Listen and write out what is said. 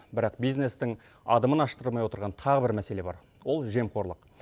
бірақ бизнестің адымын аштырмай отырған тағы бір мәселе бар ол жемқорлық